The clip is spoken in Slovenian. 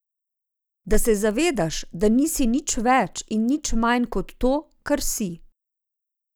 Da se zavedaš, da nisi nič več in nič manj kot to, kar si.